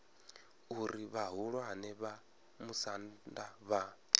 uri vhahulwane vha musanda vha